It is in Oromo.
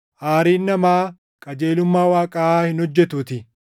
aariin namaa qajeelummaa Waaqaa hin hojjetuutii.